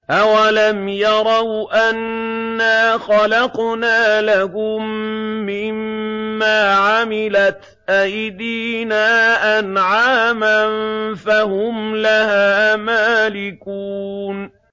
أَوَلَمْ يَرَوْا أَنَّا خَلَقْنَا لَهُم مِّمَّا عَمِلَتْ أَيْدِينَا أَنْعَامًا فَهُمْ لَهَا مَالِكُونَ